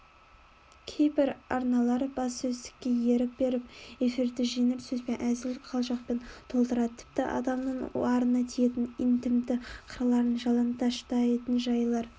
кейбір арналар боссөздікке ерік беріп эфирді жеңіл сөзбен әзіл-қылжақпен толтырады тіпті адамның арына тиетін интимді қырларын жалаңаштайтын жайлар